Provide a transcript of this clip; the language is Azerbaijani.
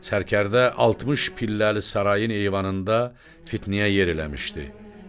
Sərkərdə 60 pilləli sarayın eyvanında fitnəyə yer eləmişdi.